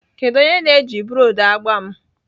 Kedu onye na-eji broọdhị agba m?